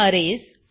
arrays